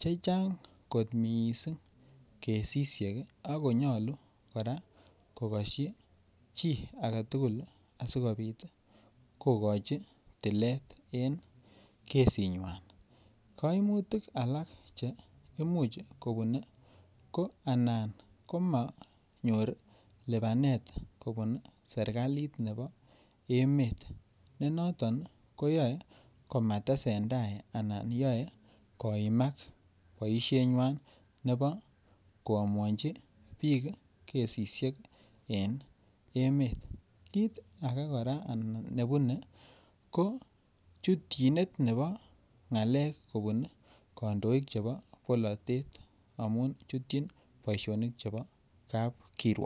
Che Chang kot mising kesisiek ak ko nyolu kora ko kosyi asi kobit kogochi tilet en kesinywa kaimutik alak Che Imuch kobune ko Anan komonyor lipanet kobun serkalit nebo emet ko noton ko yoe komatesentai anan yoe koimak boisienywa nebo koamuanchi bik kesisiek en emet kit ake ne bune ko chutyinet nebo ngakek kobun. Kondoik chebo bolotet amun chutyin kapkiruok